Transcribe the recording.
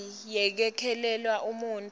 semali yekwelekelela umuntfu